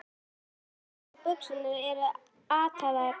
Jakkinn hans og buxurnar eru ataðar í ælu.